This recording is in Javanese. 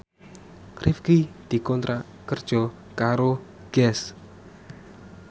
Rifqi dikontrak kerja karo Guess